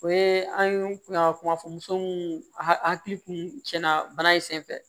O ye an kun y'a kuma fɔ muso mun hakili kun tiɲɛna bana in senfɛ